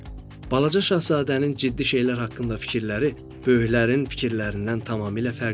Balaca şahzadənin ciddi şeylər haqqında fikirləri böyüklərin fikirlərindən tamamilə fərqli idi.